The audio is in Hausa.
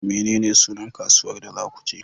Menene sunan kasuwar da za ku je?